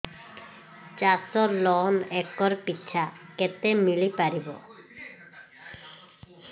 ଚାଷ loan acre ପିଛା କେତେ ମିଳି ପାରିବ